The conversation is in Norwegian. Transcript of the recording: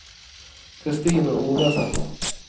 Kristine Ovesen